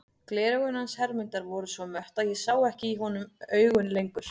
Gleraugun hans Hermundar voru svo mött að ég sá ekki í honum augun lengur.